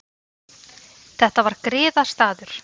Þetta var griðastaður.